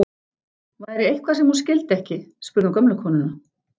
Væri eitthvað sem hún skildi ekki, spurði hún gömlu konuna.